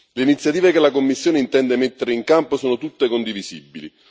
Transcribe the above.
Le iniziative che la Commissione intende mettere in campo sono tutte condivisibili.